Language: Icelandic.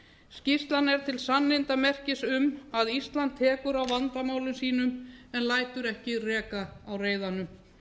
skýrslan er til sannindamerkis um að ísland tekur á vandamálum sínum en lætur ekki reka á reiðanum